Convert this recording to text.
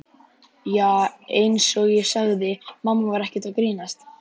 Já, einsog ég sagði, mamma var ekkert að grínast.